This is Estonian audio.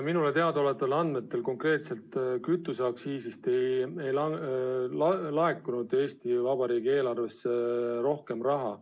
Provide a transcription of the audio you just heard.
Minule teadaolevatel andmetel konkreetselt kütuseaktsiisist ei laekunud Eesti Vabariigi eelarvesse rohkem raha.